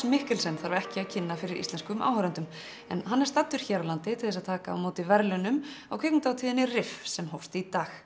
Mikkelsen þarf ekki að kynna fyrir íslenskum áhorfendum en hann er staddur hér á landi til að taka á móti verðlaunum á kvikmyndahátíðinni sem hófst í dag